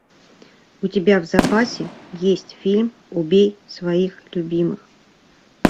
у тебя в запасе есть фильм убей своих любимых